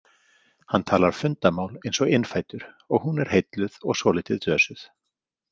Hann talar fundamál eins og innfæddur og hún er heilluð og svolítið dösuð.